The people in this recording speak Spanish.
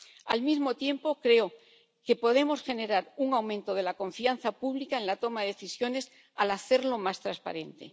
Al mismo tiempo, creo que podemos generar un aumento de la confianza pública en la toma de decisiones al hacerlo más transparente.